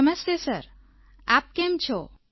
નમસ્તે સરઆપ કેમ છો